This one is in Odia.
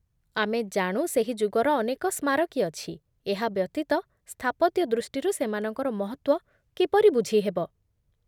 ଆମେ ଜାଣୁ ସେହି ଯୁଗର ଅନେକ ସ୍ମାରକୀ ଅଛି, ଏହା ବ୍ୟତୀତ, ସ୍ଥାପତ୍ୟ ଦୃଷ୍ଟିରୁ ସେମାନଙ୍କର ମହତ୍ତ୍ୱ କିପରି ବୁଝି ହେବ?